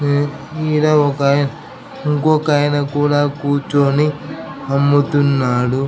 ఇడా ఒక ఇంకొక అయన కూర్చని అమ్ముతున్నాడు .